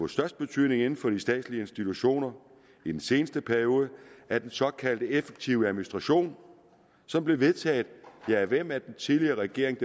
størst betydning inden for de statslige institutioner i den seneste periode er den såkaldte effektive administration som blev vedtaget ja af hvem af den tidligere regering